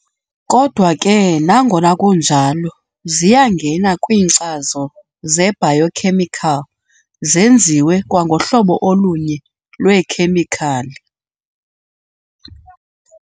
Kodwa ke nangona kunjalo ziyangena kwiinkcazo ze-biochemical- zenziwe kwangohlobo olunye lweekhemikhali.